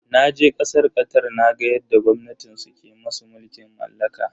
Naje kasar Qatar naga yadda gwamnatin su ke musu mulkin mallaka.